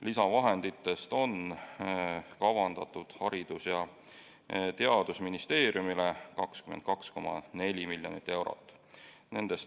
Lisavahenditest on kavandatud Haridus- ja Teadusministeeriumile 22,4 miljonit eurot.